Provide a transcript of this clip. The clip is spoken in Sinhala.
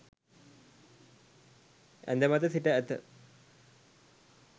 ඇඳ මත සිට ඇත